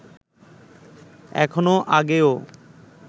এখনও আগেও